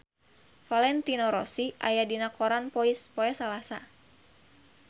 Valentino Rossi aya dina koran poe Salasa